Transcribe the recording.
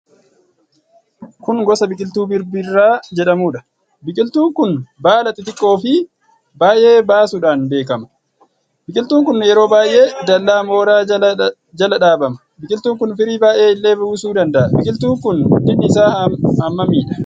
Kun gosa biqiltuu Birbirraa jedhamuudha. biqiltuun kun baala xixiqqoo fi baay'ee baasudhaan beekama. Biqiltuun kun yeroo baay'ee dallaa mooraa jala dhaabama. Biqiltuun kun firii baay'ee illee buusuu danda'a. Biqiltuun kun guddinni isaa hammamidha.